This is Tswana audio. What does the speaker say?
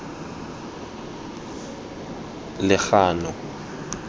legano